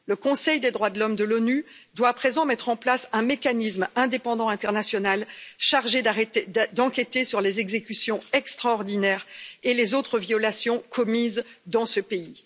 Le Conseil des droits de l'homme de l'ONU doit à présent mettre en place un mécanisme indépendant international chargé d'enquêter sur les exécutions extraordinaires et les autres violations commises dans ce pays.